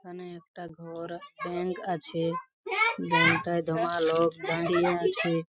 এখানে একটা ঘর ব্যাঙ্ক আছে-এ ব্যাঙ্ক -টায় দমা লোক দাঁড়িয়ে আছে ।